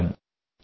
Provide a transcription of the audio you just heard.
నమస్తే జి